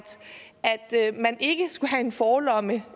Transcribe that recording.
man ikke skulle have en forlomme